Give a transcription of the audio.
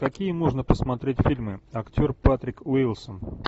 какие можно посмотреть фильмы актер патрик уилсон